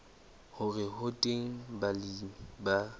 hore ho teng balemi ba